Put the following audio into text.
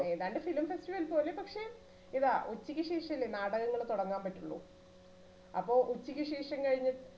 ഏതാണ്ട് film festival പോലെ പക്ഷേ ഇതാ ഉച്ചയ്ക്ക് ശേഷല്ലേ നാടകങ്ങൾ തുടങ്ങാൻ പറ്റുളളൂ അപ്പോ ഉച്ചയ്ക്കുശേഷം കഴിഞ്ഞ്